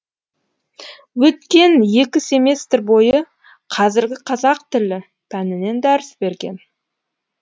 өткен екі семестр бойы қазіргі қазақ тілі пәнінен дәріс берген